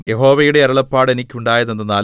യഹോവയുടെ അരുളപ്പാട് എനിക്കുണ്ടായതെന്തെന്നാൽ